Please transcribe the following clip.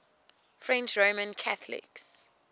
french roman catholics